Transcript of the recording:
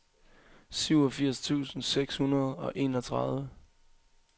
syvogfirs tusind seks hundrede og enogtredive